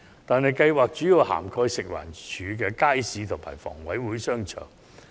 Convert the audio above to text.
但是，計劃主要涵蓋食物環境衞生署街市及房屋委員會商場。